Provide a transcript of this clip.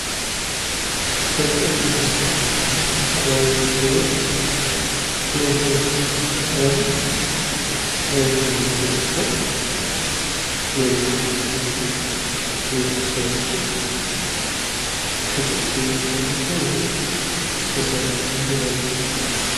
በጣም የሚያምር የተፈጥሮ አካባቢ ይታያል። እና ይሄ አካባቢ ለምን ለምን ያገለግላል? ምን ምን ጥቅሞች አሉት? እና ሰዎችስ ከጥቅምነት ባለፈ ወይም ከእርሻነት ባለፈ ለምን ይጠቀሙታል?